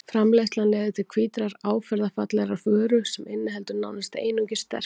Framleiðslan leiðir til hvítrar áferðarfallegrar vöru sem inniheldur nánast einungis sterkju.